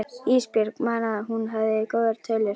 Ísbjörg man að hún hafði góðar tölur.